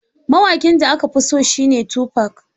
Mawaƙin da na fi so shi ne Tufac.